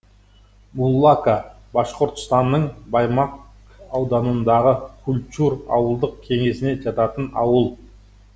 муллака башқұртстанның баймак ауданындағы кульчур ауылдық кеңесіне жататын ауыл